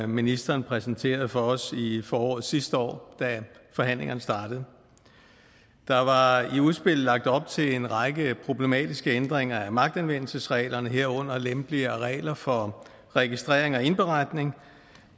ministeren præsenterede for os i foråret sidste år da forhandlingerne startede der var i udspillet lagt op til en række problematiske ændringer af magtanvendelsesreglerne herunder lempeligere regler for registrering og indberetning